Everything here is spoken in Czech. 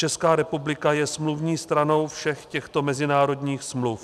Česká republika je smluvní stranou všech těchto mezinárodních smluv.